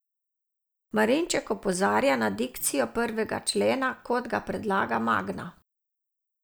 Marinček opozarja na dikcijo prvega člena, kot ga predlaga Magna.